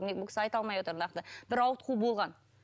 бұл кісі айта алмай отыр нақты бір ауытқу болған